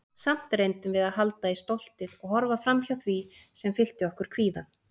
Samt reyndum við að halda í stoltið- og horfa framhjá því sem fyllti okkur kvíða.